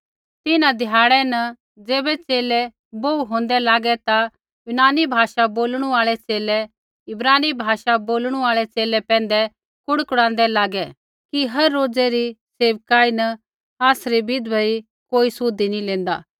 तिन्हां ध्याड़ै न ज़ैबै च़ेले बोहू होंदै लागै ता यूनानी भाषा बोलणू आल़ै च़ेले इब्रानी भाषा बोलनु आल़ै च़ेले पैंधै कुड़कुड़ांदै लागै कि हर रोज़ै री सेविकाई न आसरी विधवै री कोई सुधि नी लेंदा